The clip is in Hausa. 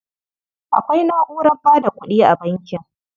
Akwai na'urar ba da kuɗi a bankin.